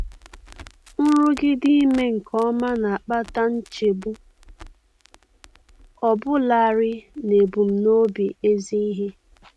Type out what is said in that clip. Nrụgide ime nke ọma na-akpata nchegbu, ọbụlarị n'ebumnobi ezi ihe.